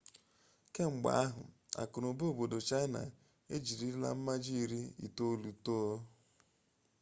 kemgbe ahụ akụnụba obodo chaịna ejirila mmaji iri itolu too